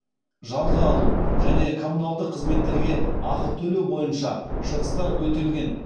жалға алу және коммуналдық қызметтерге ақы төлеу бойынша шығыстар өтелген